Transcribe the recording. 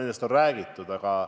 Nendest aastaarvudest on räägitud.